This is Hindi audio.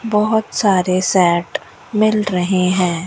बहोत सारे सैट मिल रहे हैं।